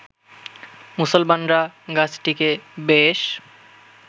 মুসলমানরা গাছটিকে বেশ